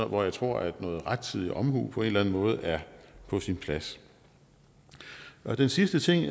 hvor jeg tror at rettidig omhu på en eller anden måde er på sin plads den sidste ting